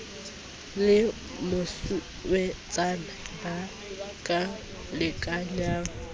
le mosuwetsana ba ka lekanyang